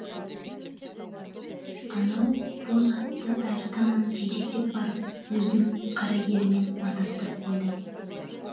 анау боз атты әрі таман жетектеп барып өзінің қарагерімен матастырып қойды